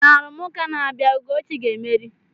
Na arụmụka na-abịa, Ugochi ga-emeri.